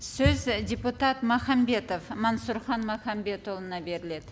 сөз і депутат махамбетов мансұрхан махамбетұлына беріледі